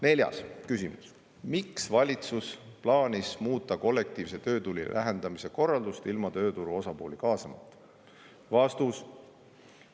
Neljas küsimus: "Miks plaanis valitsus muuta kollektiivse töötüli lahendamise korraldust ilma tööturu osapooli kaasamata?